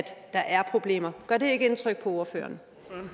der er problemer gør det ikke indtryk på ordføreren